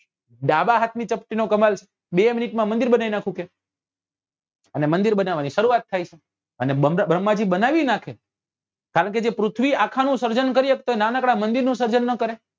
ડાબા હાથ ની ચપટી નો કમાલ છે બે minute માં મંદિર બનાવી નાખું કે અને મંદિર બનવા ની સરુઆત થાય છે અને ભ્રમ્હાં જી બનાવી એ નાખે છે કારણ કે જે પૃથ્વી આખા નું સર્જન કરી સકતો હોય એ નાનકડા મંદિર નું સર્જન નાં કરે